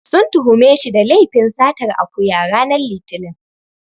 Sun tuhume shi da laifin satar akuya, ranar Litinin.